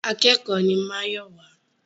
Akẹ́kòó ni Máyọ̀wá.